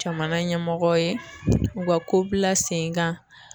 Jamana ɲɛmɔgɔw ye u ka ko bila sen kan